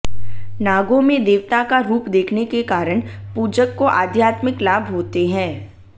नागोंमें देवताका रूप देखनेके कारण पूजकको आध्यात्मिक लाभ होते हैं